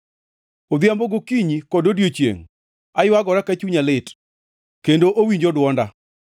Odhiambo gi okinyi kod odiechiengʼ aywagora ka chunya lit, kendo owinjo dwonda.